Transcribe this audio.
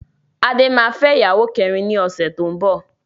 Adé máa fẹ́ ìyàwó kẹrin ni ọ̀sẹ̀ tó ń bọ̀.